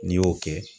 N'i y'o kɛ